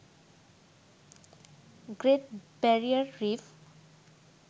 great barrier reef